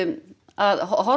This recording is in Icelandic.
að horfa